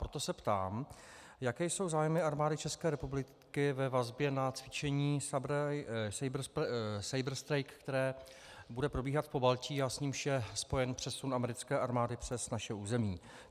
Proto se ptám, jaké jsou zájmy Armády České republiky ve vazbě na cvičení Saber Strike, které bude probíhat v Pobaltí a s nímž je spojen přesun americké armády přes naše území.